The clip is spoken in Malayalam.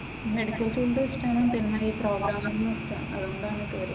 മെഡിക്കൽ ഫീൽഡ് ഇഷ്‌ടമാക്കണം പിന്നീട് ഈ പ്രോഗ്രാമിങ്ങും ഒക്കെ അതുകൊണ്ടാണ് ഈ പേര്.